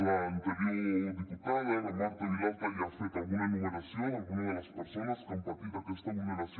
l’anterior diputada la marta vilalta ja ha fet alguna enumeració d’alguna de les persones que han patit aquesta vulneració